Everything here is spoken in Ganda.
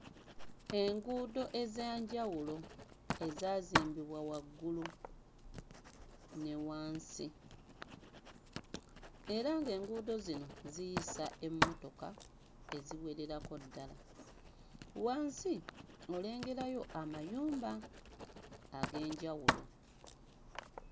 Enguudo eza njawulo ezaazimbibwa waggulu ne wansi era ng'enguudo zino ziyisa emmotoka eziwererako ddala. Wansi olengerayo amayumba ag'enjawulo.